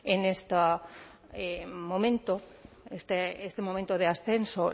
en este momento este momento de ascenso